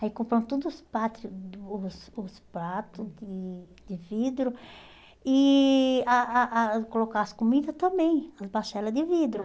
Aí compram todos os pratos os os pratos de de vidro e a a a colocar as comidas também, de vidro.